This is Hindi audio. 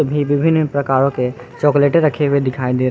विभिन्न प्रकारों के चॉकलेटे रखे हुए दिखाई दे--